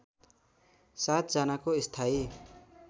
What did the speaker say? ७ जनाको स्थायी